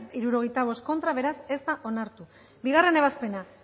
hirurogeita hamalau eman dugu bozka bederatzi boto aldekoa sesenta y cinco contra bi ebazpena